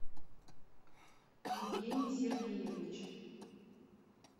евгений сергеевич